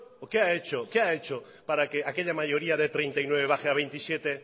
o qué ha hecho para que aquella mayoría de treinta y nueve baje a veintisiete